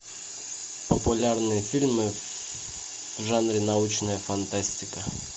популярные фильмы в жанре научная фантастика